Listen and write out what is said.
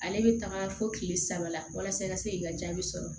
Ale bɛ taga fo kile saba la walasa i ka se k'i ka jaabi sɔrɔ